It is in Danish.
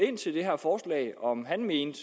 ind til det her forslag om han mente